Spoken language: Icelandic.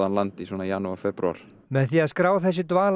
land í svona janúar febrúar með því að skrá þessi